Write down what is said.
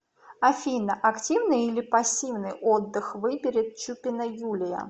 афина активный или пассивный отдых выберет чупина юлия